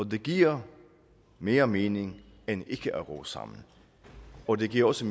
det giver mere mening end ikke at ro sammen og det giver også